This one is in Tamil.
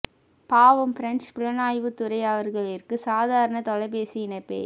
பாவம் பிரெஞ்சு புலனாய்வுத் துறை அவர்களிற்கு சாதாரண தொலைபேசி இணைப்பே